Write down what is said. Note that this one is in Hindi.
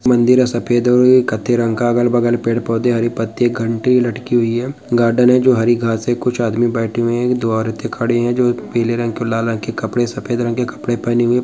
मंदिर है सफ़ेद कत्थई रंग का अगल-बगल पेड़ पौधे हरी पत्ती घंटी लटकी हुई है गार्डन है जो हरी घास है कुछ आदमी बैठे हुए है एक दो औरतें खड़ी है जो एक पीले रंग लाल रंग के कपड़े सफ़ेद रंग के कपड़े पेहने हुई है।